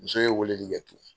Muso ye weleli kɛ tun